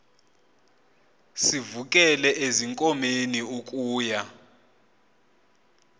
sivukele ezinkomeni ukuya